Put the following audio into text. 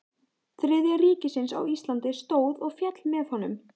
Þriðja ríkisins á Íslandi stóð og féll með honum.